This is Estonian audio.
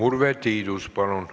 Urve Tiidus, palun!